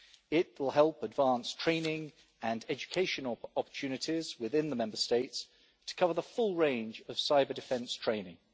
It will help advance training and educational opportunities within the Member States to cover the full range of cyber-defence training.